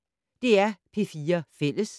DR P4 Fælles